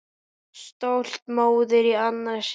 Stolt móðir í annað sinn.